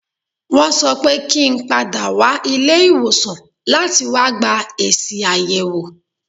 Wọ́n sọ pé kí n padà wá ilé ìwòsàn láti wá gba èsì àyẹ̀wò.